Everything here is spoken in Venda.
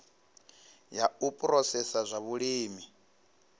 ya u phurosesa zwa vhulimi